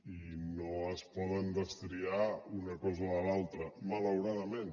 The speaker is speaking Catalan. i no es pot destriar una cosa de l’altra malauradament